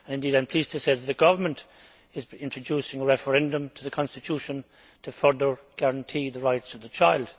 Indeed, I am pleased to say that the government is introducing a referendum to the constitution to further guarantee the rights of the child.